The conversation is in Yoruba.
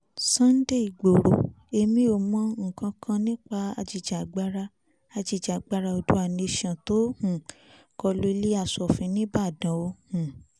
sunday igboro èmi ò mọ nǹkankan nípa ajìjàgbara ajìjàgbara oodua nation tó um kọlu ilé asòfin nibọ̀dàn o um